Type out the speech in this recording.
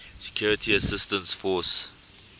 security assistance force